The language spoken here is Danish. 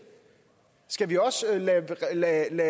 skal vi også lade